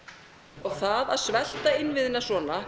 og það að svelta innviðina svona